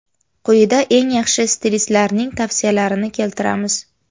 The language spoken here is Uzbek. Quyida eng yaxshi stilistlarning tavsiyalarini keltiramiz.